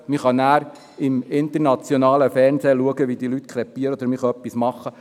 Man kann im internationalen Fernsehen zuschauen, wie diese Leute krepieren, oder man kann etwas tun.